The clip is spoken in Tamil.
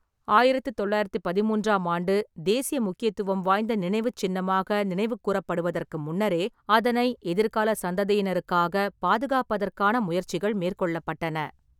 ஆயிரத்து தொள்ளாயிரத்தி பதின்மூன்றாம் ஆண்டு தேசிய முக்கியத்துவம் வாய்ந்த நினைவுச் சின்னமாக நினைவுகூரப்படுவதற்கு முன்னரே, அதனை எதிர்கால சந்ததியினருக்காகப் பாதுகாப்பதற்கான முயற்சிகள் மேற்கொள்ளப்பட்டன.